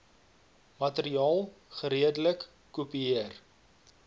materiaal geredelik kopieer